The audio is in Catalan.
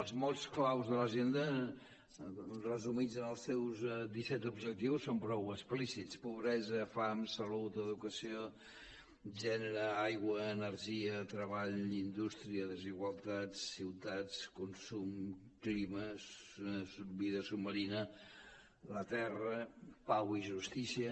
els mots clau de l’agenda resumits en els seus disset objectius són prou explícits pobresa fam salut educació gènere aigua energia treball indústria desigualtat ciutats consum clima vida submarina la terra pau i justícia